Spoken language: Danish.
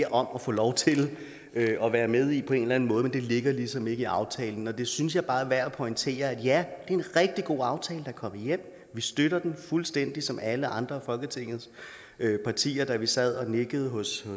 om at få lov til at være med i på en eller anden måde men det ligger ligesom ikke i aftalen det synes jeg bare er værd at pointere at ja det er en rigtig god aftale er kommet hjem vi støtter den fuldstændig som alle andre af folketingets partier da vi sad og nikkede hos